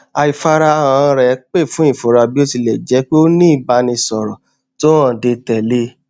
àìfarahàn rẹ pè fún ìfura bí ó ti lẹ jjẹ pé ó ní ìbánisọrọ tó hànde tẹlẹ